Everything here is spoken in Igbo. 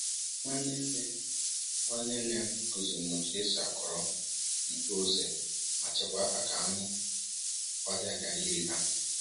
Nwanne nne Nwanne nne m kụziri m otu esi akọrọ mkpụrụ ose ma chekwaa ha ka anụ ọhịa ghara iri ha